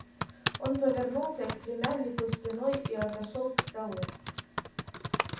он повернулся к племяннику спиной и отошёл к столу